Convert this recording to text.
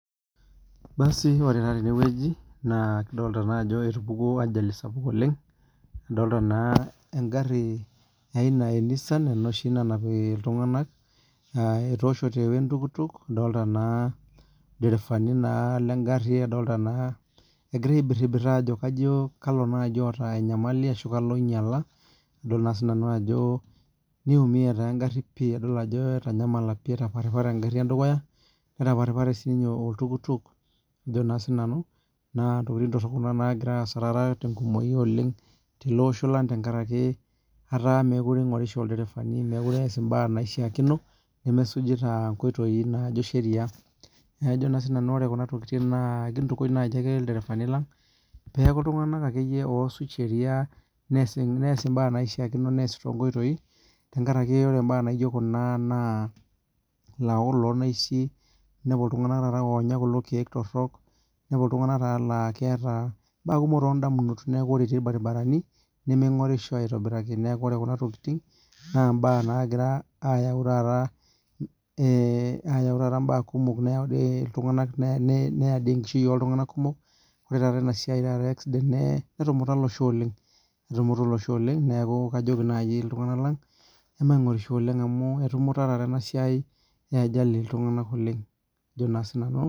Ore tenewueji kadolita Ajo etupukuo ajali sapuk oleng nadolita naa egari ee Nissan enoshi nanap iltung'ana etoshoto ee entukutuk adolita naa il derevani lee gari adol naa egira aibiribir Ajo kalo naaji otaa enyamali arashu kalo oinyiala adol Ajo nitumie naa egari pii adol Ajo etaparipari egari edukuya nataparipare sininye oltukutuk naa ntokitin torok Kuna nagira asaa tenkumoki oleng tele Osho lang tenkaraki mekure eingorisho ilderavani nemesujita nkoitoi najoitoi sheria neeku kajo naaji nanu kintukuj naaji ake ilderevani lang pee eku iltung'ana osuj sheria neas mbaa naishakino neas too nkoitoi tenkaraki ore mbaa naijio Kuna naa lawokok loo naishi enepu kulo tung'ana taata onya kulo keek torok enepu kulo tung'ana laa keeta mbaa torok too ndamunot neeku oree etii irbaribarani nemeing'orisho aitobiraki neeku ore Kuna tokitin naa mbaa nagira ayau taata mbaa kumok neyau enkishui oltung'ana kumok oree taata enasiai ee accident netumuta olosho oleng neeku kajoki naaji iltung'ana lang emaingorisho oleng amu netumuta taa enasiai ee ajali iltung'ana oleng Ajo naa sinanu